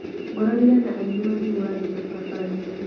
Ngoranire na aini makĩhũra ngita barabarainĩ.